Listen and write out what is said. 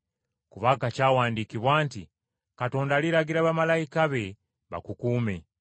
Kubanga kyawandiikibwa nti, “ ‘Katonda aliragira bamalayika be bakukuume.